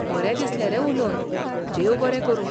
बरें दिसलें रे उलोवन! देव बरें करूं!